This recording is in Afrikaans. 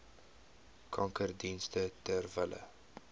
kankerdienste ter wille